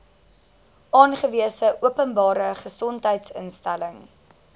aangewese openbare gesondheidsinstelling